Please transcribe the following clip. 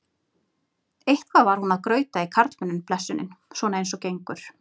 Eitthvað var hún að grauta í karlmönnum blessunin, svona eins og gengur.